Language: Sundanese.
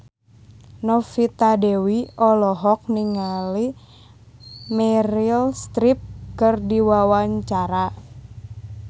Novita Dewi olohok ningali Meryl Streep keur diwawancara